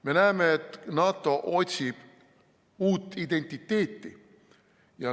Me näeme, et NATO otsib uut identiteeti.